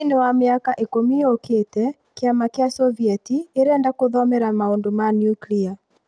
Thĩin ya maka ikũmi yũkite, kiama kĩa Sovieti ĩrenda kũthomera maũndũ ma nuklia